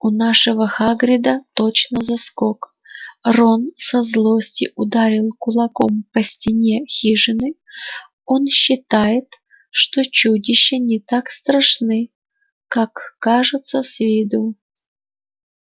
у нашего хагрида точно заскок рон со злости ударил кулаком по стене хижины он считает что чудища не так страшны как кажутся с виду